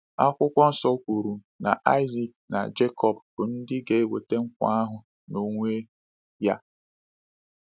Akwụkwọ Nsọ kwuru na Isaac na Jekọb bụ ndị ga-enweta nkwa ahụ n’onwe ya.